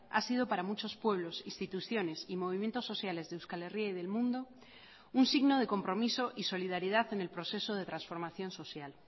ha sido para muchos pueblos instituciones y movimientos sociales de euskal herria y del mundo un signo de compromiso y solidaridad en el proceso de transformación social